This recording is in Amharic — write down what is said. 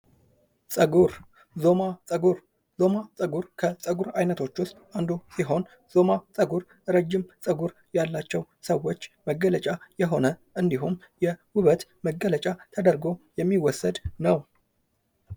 ፀጉር :- ዞማ ጸጉር ፡- ዞማ ጸጉር ከፀጉር አይነቶች ውስጥ አንዱ የሆነ ፀጉር ረጃጅም ጸጉር ያላቸው ሰዎች መገለጫ የሆነ ፤ እንዲሁም የውበት መገለጫ ተደርጎ የሚወሰድ ነው።